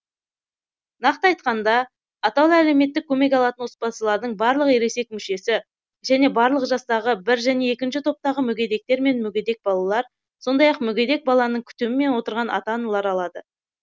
нақты айтқанда атаулы әлеуметтік көмек алатын отбасылардың барлық ересек мүшесі және барлық жастағы бір және екінші топтағы мүгедектер мен мүгедек балалар сондай ақ мүгедек баланың күтімімен отырған ата аналар алады